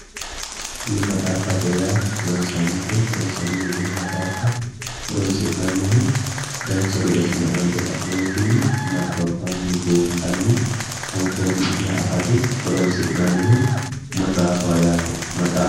Tini maxaaffate yaa ronsannite ronsanniti tini maxaaffate horoonsi'nannihu dancha gede assine amande ka'neentinni nabbambanni buunxanni anfoonnikkiha afate horoonsi'nannihu maxaafaho yaate